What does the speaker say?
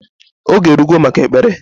Oge erugo maka Ekpere